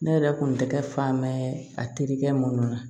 Ne yɛrɛ kun tɛ kɛ fan bɛɛ a terikɛ minnu na